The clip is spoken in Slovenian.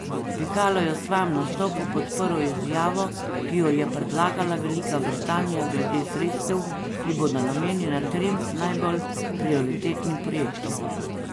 Pikalo je v svojem nastopu podprl izjavo, ki jo je predlagala Velika Britanija glede sredstev, ki bodo namenjena trem najbolj prioritetnim projektom.